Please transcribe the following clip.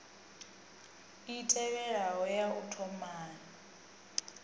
i tevhelaho ya u thomai